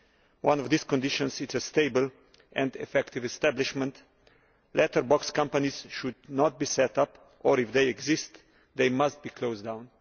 One of these conditions is stable and effective establishment. Letterbox companies should not be set up or, if they exist, they must be closed down.